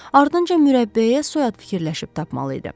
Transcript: Ardınca mürəbbiyəyə soyad fikirləşib tapmalı idi.